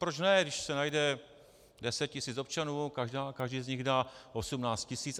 Proč ne, když se najde deset tisíc občanů, každý z nich dá 18 tisíc.